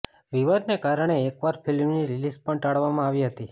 વિવાદને કારણે એકવાર ફિલ્મની રિલીઝ પણ ટાળવામાં આવી હતી